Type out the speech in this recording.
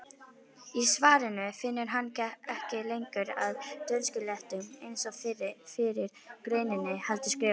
Í svarinu finnur hann ekki lengur að dönskuslettum eins og í fyrri greininni heldur skrifar: